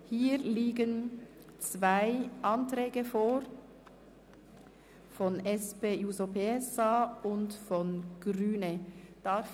Hier liegen zwei Anträge von der SP-JUSO-PSA-Fraktion und von den Grünen vor.